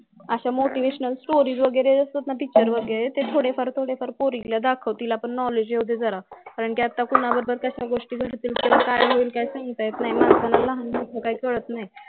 अश्या motivational story असतात ना picture वगैरे ते थोडे फार थोडे फार पोरीला दाखव तिला पण knowledge येवूडे जरा कारण कि आता कोणाबद्दल कश्या गोष्टी घडतील काय सागता येत नाही माणसांना लहान मोठ काही कळत नाही